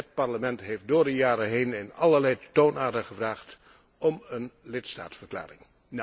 Het Parlement heeft door de jaren heen in alle toonaarden gevraagd om een lidstaatverklaring.